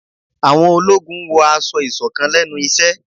Àwọn ológun n wọ aṣọ-isọ̀kán lẹnu iṣẹ